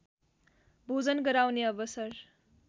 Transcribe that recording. भोजन गराउने अवसर